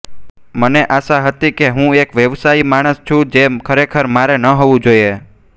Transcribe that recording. મને આશા હતી કે હું એક વ્યવસાયી માણસ છું જે ખરેખર મારે ન હોવું જોઇએ